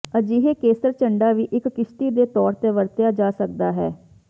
ਅਜਿਹੇ ਕੇਸਰ ਝੰਡਾ ਵੀ ਇੱਕ ਕਿਸ਼ਤੀ ਦੇ ਤੌਰ ਤੇ ਵਰਤਿਆ ਜਾ ਸਕਦਾ ਹੈ